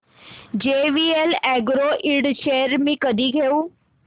JVL agro ind shares मी कधी घेऊ